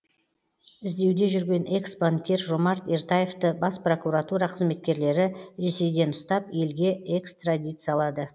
іздеуде жүрген экс банкир жомарт ертаевты бас прокуратура қызметкерлері ресейден ұстап елге экстрадициялады